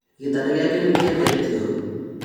Gĩtanda gĩake nĩkĩendetio?